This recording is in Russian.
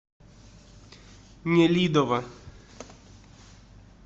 нелидово